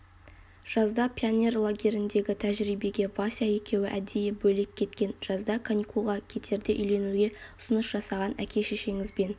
жазда пионер лагеріндегі тәжірибеге вася екеуі әдейі бөлек кеткен жазда каникулға кетерде үйленуге ұсыныс жасаған әке-шешеңізбен